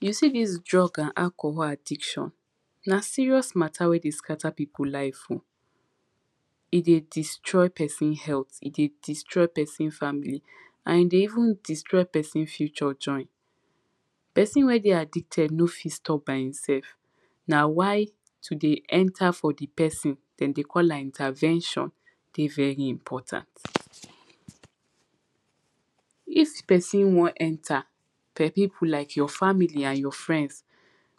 you see dis drug and alcohol addiction na serious matter wey dey scatter pipu life o he dey destroy person health he dey destroy person family and he dey even destroy person future join person wey dey addicted no fi stop by hinself na why to dey enter for the person dem dey call am, intervention dey very important if person wan enter pipu like your family and your friends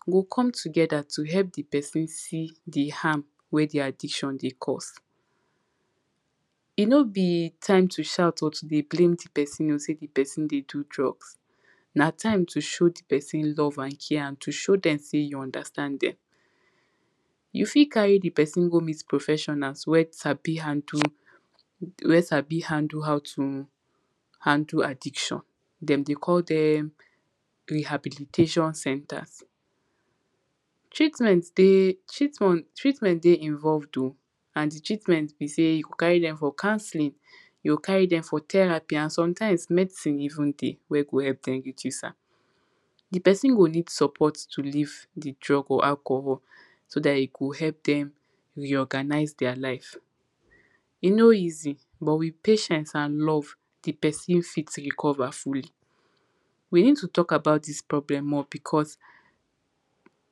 go come together to help the person see the harm wey the addiction dey cause he no be time to shout or to dey blame the person o, se the person dey do drugs na time to show the person love, and care, and to show dem say you understand dem you fi carry the person go meet professional wey sabi handle wey sabi handle how to handle addiction dem dey call dem rehabilitation centers treatment dey treatmont treatment dey involved o and the treatment be say you go carry dem for counselling you go carry dem for therapy, and sometimes medicine even dey, wey go help dem reduce am the person go need support to leave the drug or alcohol so dat, he go help dem re-organise deir life he no easy but with patience, and love the person fit recover fully we need to talk about dis problem more because